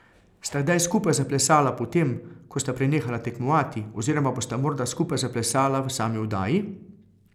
Sta kdaj skupaj zaplesala po tem, ko sta prenehala tekmovati, oziroma bosta morda skupaj zaplesala v sami oddaji?